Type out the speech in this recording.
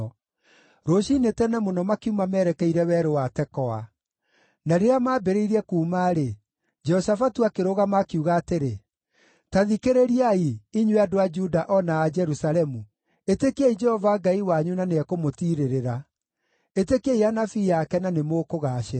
Rũciinĩ tene mũno makiuma merekeire Werũ wa Tekoa. Na rĩrĩa maambĩrĩirie kuuma-rĩ, Jehoshafatu akĩrũgama, akiuga atĩrĩ, “Ta thikĩrĩriai, inyuĩ andũ a Juda o na a Jerusalemu! Ĩtĩkiai Jehova Ngai wanyu na nĩekũmũtirĩrĩra; ĩtĩkiai anabii ake na nĩmũkũgaacĩra.”